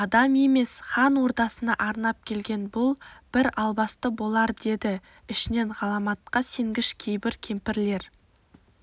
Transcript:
адам емес хан ордасына арнап келген бұл бір албасты болардеді ішінен ғаламатқа сенгіш кейбір кемпірлер